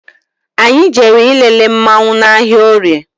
Anyị jere ịlele mmanwu n' ahịa orie